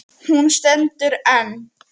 Hún stendur enn.